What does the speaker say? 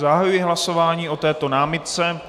Zahajuji hlasování o této námitce.